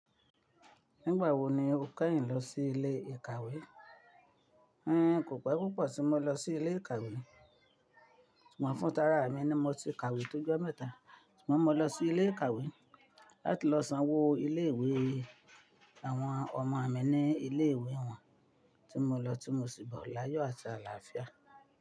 Nígbà wo ni o kẹ́yìn lọ sí ilé ìkàwé? N kò pé púpọ̀ tí mo lọ sí ilé ìkàwé. Ṣùgbọ́n fún tààrà mi ni, mo ti ka ìwé tó jọ mẹ́ta. Ṣùgbọ́n mo lọ sí ilé ìkàwé láti lọ sanwó ilé ìwé àwọn ọmọ mi ní ilé ìwé wọn, tí mo lọ tí mo sì bọ̀ láyọ̀ àti àlàáfíà.